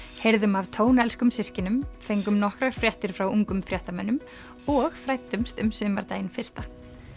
heyrðum af tónelskum systkinum fengum nokkrar fréttir frá ungum fréttamönnum og fræddumst um sumardaginn fyrsta